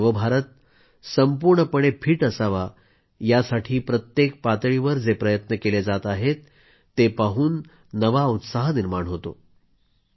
आपला नव भारत संपूर्णपणे फिट असावा यासाठी प्रत्येक पातळीवर जे प्रयत्न केले जात आहेत ते पाहून उत्साह निर्माण होतो